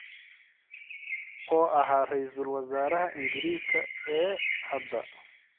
oo ahaa raysal wasaaraha Ingiriiska ee hadda